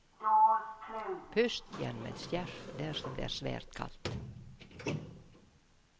Pust gjennom et skjerf dersom det er svært kaldt.